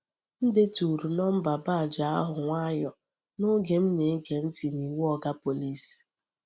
M deturu nọmba badge ahụ nwayọọ n’oge m na-ege ntị n’iwu Oga Pọlịs.